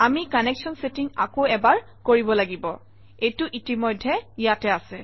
আমি connection chatting আকৌ এবাৰ কৰিব লাগিব এইটো ইতিমধ্যে ইয়াতে আছে